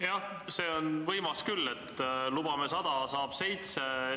Jah, see on võimas küll, et lubame 100, saab 7!